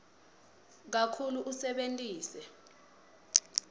kakhulu usebentise